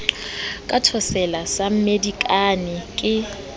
ka thotsela sa mmedikane ke